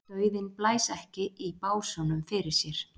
Dauðinn blæs ekki í básúnum fyrir sér.